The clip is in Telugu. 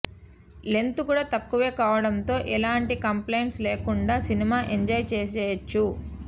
లెంత్ కూడా తక్కువే కావడంతో ఎలాంటి కంప్ల్లైంట్స్ లేకుండా సినిమా ఎంజాయ్ చేసేయొచ్చు